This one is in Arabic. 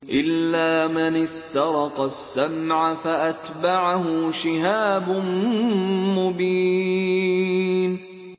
إِلَّا مَنِ اسْتَرَقَ السَّمْعَ فَأَتْبَعَهُ شِهَابٌ مُّبِينٌ